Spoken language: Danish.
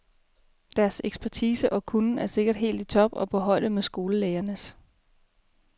Deres ekspertise og kunnen er sikkert helt i top og på højde med skolelægernes.